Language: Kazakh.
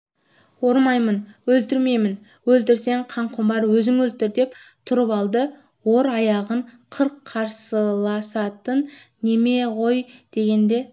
ормаймын өлтірмеймін өлтірсең қанқұмар өзің өлтір деп тұрып алды ор аяғын қырық қарсыласатын неме ғой дегенде